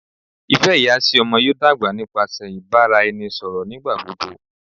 ifẹ iya si ọmọ yoo dagba nipasẹ ibaraẹnisọrọ nigbagbogbo